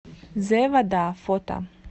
зэ вода фото